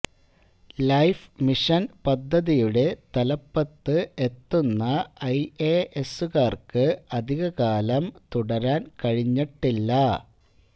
life mission പദ്ദതിയുടെ തലപ്പത്ത് എത്തുന്ന ഐ എ എസുകാർക്ക് അധികകാലം തുടരാൻ കഴിഞ്ഞിട്ടില്ല